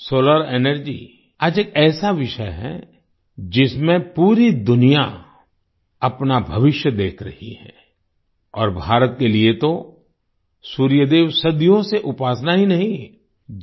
solar energy आज एक ऐसा विषय है जिसमें पूरी दुनिया अपना भविष्य देख रही है और भारत के लिए तो सूर्य देव सदियों से उपासना ही नहीं